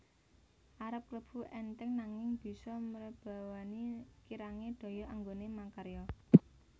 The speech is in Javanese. Arep klebu entheng nanging bisa mrebawani kirange daya anggone makarya